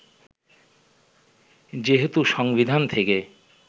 যেহেতু সংবিধান থেকে